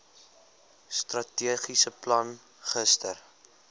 strategiese plan gister